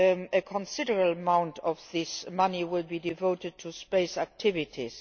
A considerable amount of this money will be devoted to space activities.